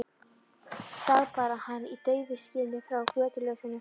Sá bara hann í daufu skini frá götuljósinu.